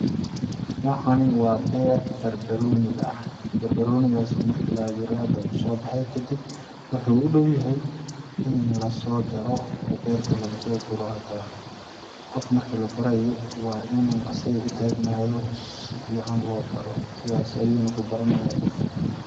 Waxani waa beer bar baroniga ah, bar baronigaas marki laaburaye hadaa wuu so baxay, wuxuu udawyahay ini lasojaro o beerta laga so guroo, qofka marki labarayo waa inu isaga tagnadho si fiican lo baro, sidaas ayuna kubaranayaa qoofka.